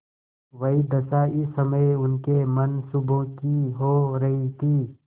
वही दशा इस समय उनके मनसूबों की हो रही थी